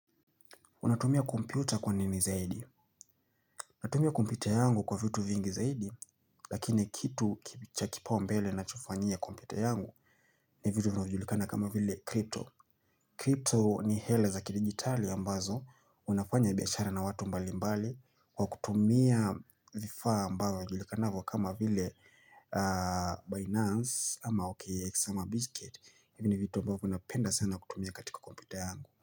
Unatumia kompyuta kwa nini zaidi? Natumia kompyuta yangu kwa vitu vingi zaidi, lakini kitu cha kipaa umbele nachokifanyia kompyuta yangu ni vitu vinaujulikana kama vile crypto. Crypto ni hela za kidigitali ambazo, unafanya biashara na watu mbali mbali, kwa kutumia vifaa ambao vyajulikanavo kama vile Binance ama OKX ama Bizkit. Hivini vitu ambavyo napenda sana kutumia katika kompyuta yangu.